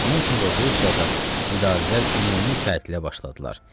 Onun üçün də Rusiyada idarələr ümumi tətilə başladılar.